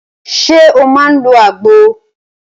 Ṣé o máà ń lọ àgbo?